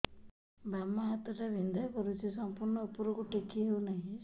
ବାମ ହାତ ଟା ବିନ୍ଧା କରୁଛି ସମ୍ପୂର୍ଣ ଉପରକୁ ଟେକି ହୋଉନାହିଁ